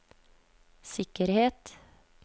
sikkerhet